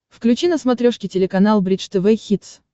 включи на смотрешке телеканал бридж тв хитс